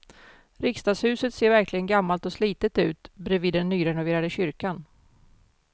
Riksdagshuset ser verkligen gammalt och slitet ut bredvid den nyrenoverade kyrkan.